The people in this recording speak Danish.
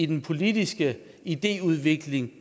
den politiske idéudvikling